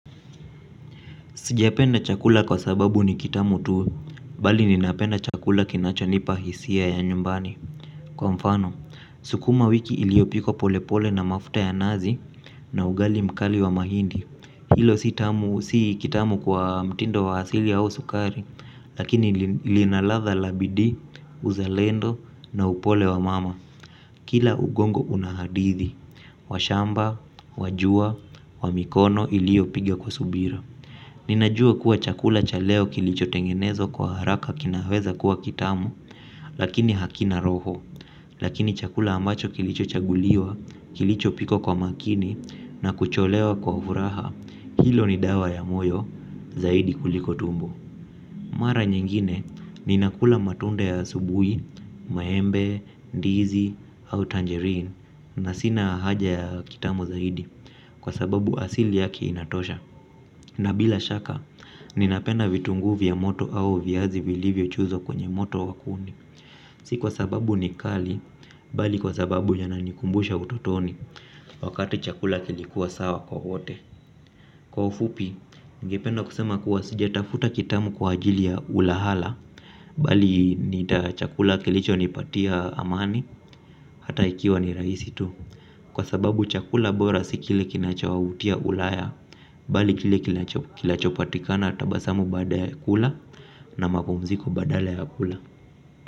Sijapenda chakula kwa sababu ni kitamu tu, bali ninapenda chakula kinachonipa hisia ya nyumbani. Kwa mfano, sukuma wiki iliopikwa pole pole na mafuta ya nazi na ugali mkali wa mahindi. Hilo si kitamu kwa mtindo wa asili au sukari, lakini lina ladha la bidii, uzalendo na upole wa mama. Kila ugongo unahadithi, washamba, wajua, wamikono iliopiga kwa subira. Ninajua kuwa chakula chaleo kilicho tengenezwa kwa haraka kinaweza kuwa kitamu lakini hakina roho. Lakini chakula ambacho kilicho chaguliwa kilicho pikwa kwa makini na kucholewa kwa furaha hilo ni dawa ya moyo zaidi kuliko tumbo mara nyingine ninakula matunda ya asubuhi maembe ndizi au tanjerin na sina haja ya kitamu zaidi kwa sababu asili yake inatosha. Na bila shaka, ninapenda vitunguu vya moto au viazi zivilivyochozwa kwenye moto wakuni. Si kwa sababu ni kali, bali kwa sababu inanikumbusha utotoni. Wakati chakula kilikuwa sawa kwa wote. Kwa ufupi, ningependa kusema kuwa sijatafuta kitamu kwa ajili ya ulahala. Bali ni chakula kilicho nipatia amani, hata ikiwa ni rahisi tu. Kwa sababu chakula bora sikile kinachowautia ulaya bali kile kilachopatikana tabasamu baada ya kula na mapumziko badala ya kula.